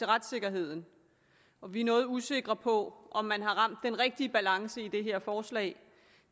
retssikkerheden og vi er noget usikre på om man har ramt den rigtige balance i det her forslag